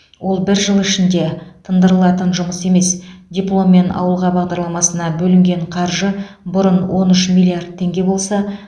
ол бір жыл ішінде тыңдырылатын жұмыс емес дипломмен ауылға бағдарламасына бөлінген қаржы бұрын он үш миллиард теңге болса